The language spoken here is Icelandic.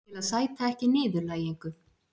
Til að sæta ekki niðurlægingu.